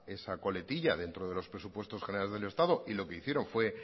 esa coletilla dentro de los presupuestos generales del estado y lo que hicieron fue